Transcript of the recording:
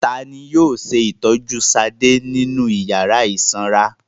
Ta ni yóò ṣe ìtọ́jú Ṣadé nínú ìyàrá ìsanra?